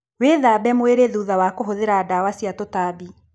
Wĩthambe mwĩrĩ thutha wa kũhũthĩra ndawa cia tũtambi.